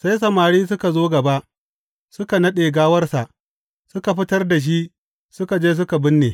Sai samari suka zo gaba, suka naɗe gawarsa, suka fitar da shi suka je suka binne.